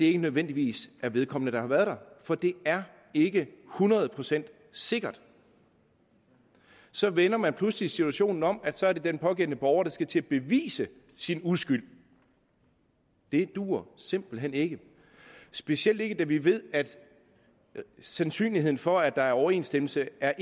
ikke nødvendigvis vedkommende der har været der for det er ikke hundrede procent sikkert så vender man pludselig situationen om så det er den pågældende borger der skal til at bevise sin uskyld det duer simpelt hen ikke specielt ikke da vi ved at sandsynligheden for at der er overensstemmelse er